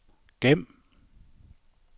gem